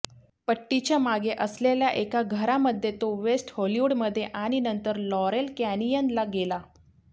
पट्टीच्या मागे असलेल्या एका घरामध्ये तो वेस्ट हॉलीवुडमध्ये आणि नंतर लॉरेल कॅनियनला गेला